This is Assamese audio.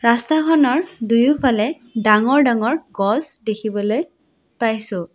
ৰাস্তাখনৰ দুয়োফালে ডাঙৰ ডাঙৰ গছ দেখিবলৈ পাইছোঁ।